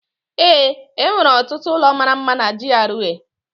Ee, enwere ọtụtụ ụlọ mara mma na GRA